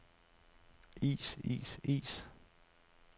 is is is